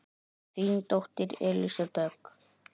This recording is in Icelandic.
Þín dóttir Elísa Dögg.